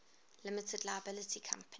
limited liability company